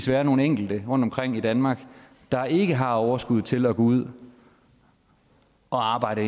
være nogle enkelte rundtomkring i danmark der ikke har overskuddet til at gå ud og arbejde